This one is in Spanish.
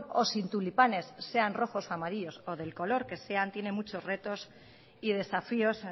o sin tulipanes sean rojos o amarillos o del color que sean tiene muchos retos y desafíos